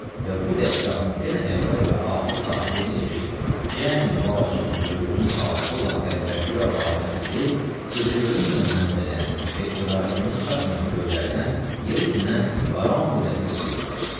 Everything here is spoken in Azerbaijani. Və bu dəstgahın yenə əvvəl və axır sahibi necə ki, cəmi vacibul vücudun xaliqi olan Pərvərdigari aləmdir ki, gözə görünməyən mənbədən və idrakımız çatmayan göylərdən yer üzünə barani rəhmət göndərir.